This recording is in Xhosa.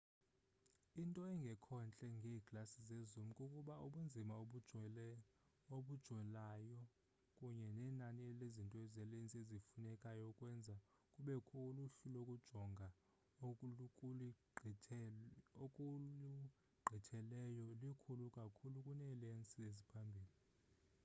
into engekhontle ngeeglasi zezoom kukuba ubunzima obujolayo kunye nenani lezinto zelensi ezifunekayo ukwenza kubekho uluhlu lokujonga okulugqithileyo likhulu kakhulu kuneelensi eziphambili